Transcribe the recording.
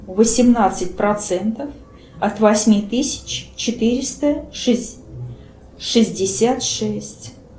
восемнадцать процентов от восьми тысяч четыреста шестьдесят шесть